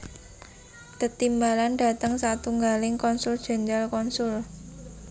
Tetimbalan dhateng satunggaling konsul jenderal konsul